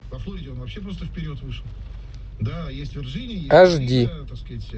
аш ди